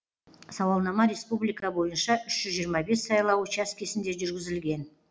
сауалнама республика бойынша үш жүз жиырма бес сайлау учаскесінде жүргізілген